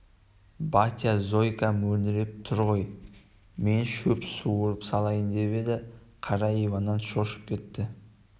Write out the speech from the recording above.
батя зойка мөңіреп тұр ғой мен шөп суырып салайын деп еді қара иван шошып кетті